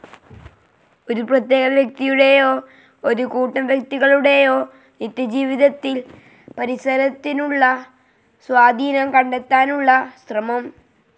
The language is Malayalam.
ഒരു പ്രത്യേക വ്യക്തിയുടേയോ, ഒരു കൂട്ടം വ്യക്തികളുടേയോ നിത്യജീവിതത്തിൽ പരിസരത്തിനുള്ള സ്വാധീനം കണ്ടെത്താനുള്ള ശ്രമം.